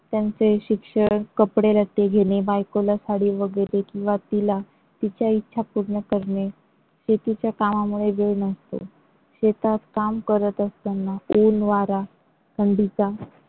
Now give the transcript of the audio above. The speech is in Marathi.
त्यांचे शिक्षण, कपडेलत्ते घेणे बायकोला साडी वगैरे किंवा तिला तिच्या इच्छा पूर्ण करणे, शेतीच्या कामांमुळे वेळ नसतो शेतात काम करत असताना ऊन वारा थंडीचा